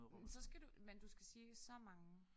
Men så skal du men du skal sige så mange